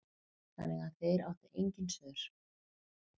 Þannig að þeir áttu engin svör.